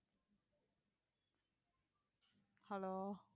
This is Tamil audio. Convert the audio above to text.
hello